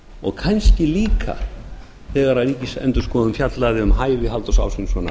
og kannski líka þegar ríkisendurskoðun fjallaði um hæfi halldórs ásgrímssonar